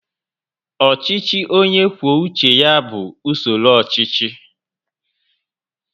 Ọchịchị onye kwuo uche ya bụ usoro ọchịchị